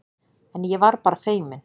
En ég var bara feiminn.